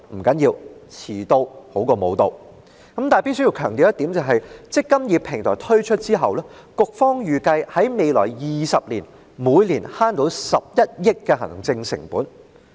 局方預計在"積金易"平台推出後的未來20年，每年可節省11億元行政成本。